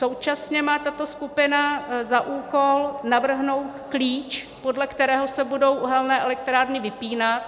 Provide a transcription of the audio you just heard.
Současně má tato skupina za úkol navrhnout klíč, podle kterého se budou uhelné elektrárny vypínat.